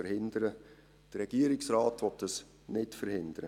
– Der Regierungsrat will dies nicht verhindern.